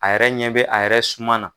A yɛrɛ ɲɛ bɛ a yɛrɛ suma na.